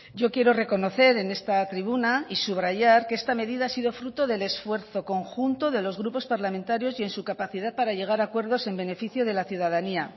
yo quiero reconocer en esta tribuna y subrayar que esta medida ha sido fruto del esfuerzo conjunto de los grupos parlamentarios y en su capacidad para llegar a acuerdos en beneficio de la ciudadanía